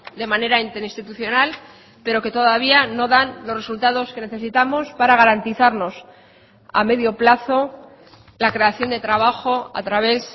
de manera interinstitucional pero que todavía no dan los resultados que necesitamos para garantizarnos a medio plazo la creación de trabajo a través